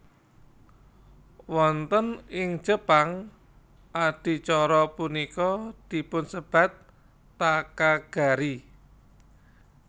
Wonten ing Jepang adicara punika dipunsebat Takagari